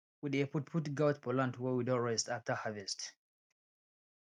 we dey put put goat for land wey we don rest after harvest